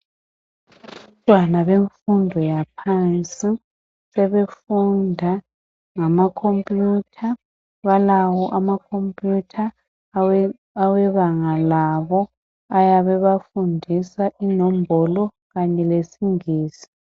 Abantwana bemfundo yaphansi sebefunda ngama khompiyutha. Balawo ama khompiyutha awe banga labo ayabe ebafundisa inombolo kanye lesingisi